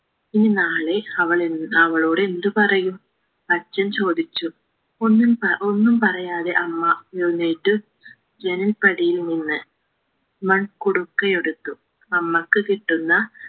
ഇനി നാളെ അവളെൻ അവളോടെന്ത് പറയും അച്ഛൻ ചോദിച്ചു ഒന്നും പ ഒന്നും പറയാതെ അമ്മ എഴുന്നേറ്റ് ജനൽ പടിയിൽ നിന്ന് മൺകുടുക്കിയെടുത്തു അമ്മക്ക് കിട്ടുന്ന